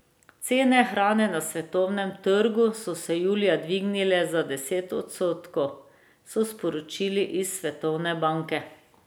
Cene hrane na svetovnem trgu so se julija dvignile za deset odstotkov, so sporočili iz Svetovne banke.